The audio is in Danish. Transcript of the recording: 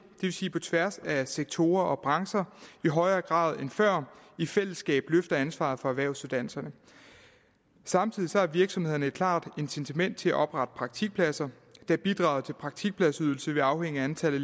vil sige på tværs af sektorer og brancher i højere grad end før i fællesskab løfter ansvaret for erhvervsuddannelserne samtidig har virksomhederne et klart incitament til at oprette praktikpladser da bidrag til praktikpladsydelse vil afhænge af antallet